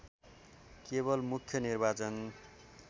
केवल मुख्य निर्वाचन